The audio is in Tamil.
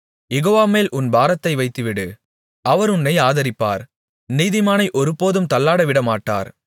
யெகோவாமேல் உன் பாரத்தை வைத்துவிடு அவர் உன்னை ஆதரிப்பார் நீதிமானை ஒருபோதும் தள்ளாடவிடமாட்டார்